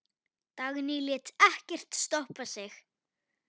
Dagný lét ekkert stoppa sig.